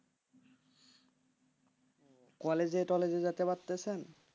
College টলেজে যেতে পারতেছে?